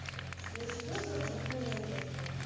я сижу что-то рафаэлло жру